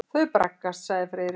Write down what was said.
Þau braggast sagði Friðrik.